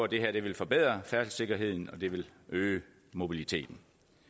det her vil forbedre færdselssikkerheden og øge mobiliteten